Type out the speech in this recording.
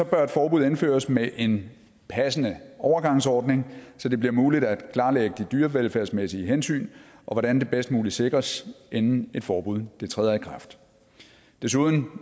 bør et forbud indføres med en passende overgangsordning så det bliver muligt at klarlægge de dyrevelfærdsmæssige hensyn og hvordan det bedst muligt sikres inden et forbud træder i kraft desuden